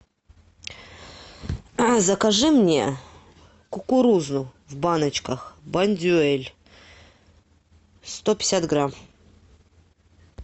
закажи мне кукурузу в баночках бондюэль сто пятьдесят грамм